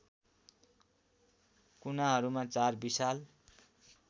कुनाहरूमा चार विशाल